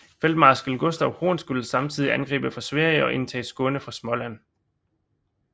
Feltmarskal Gustav Horn skulle samtidig angribe fra Sverige og indtage Skåne fra Småland